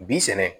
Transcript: Bi sɛnɛ